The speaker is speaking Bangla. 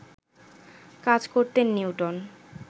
কাজ করতেন নিউটন